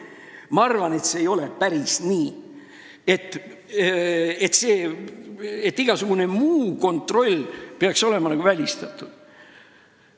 Ma arvan, et see ei ole päris nii, et igasugune muu kontroll peaks olema välistatud.